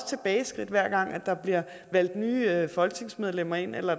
tilbageskridt hver gang der bliver valgt nye folketingsmedlemmer ind eller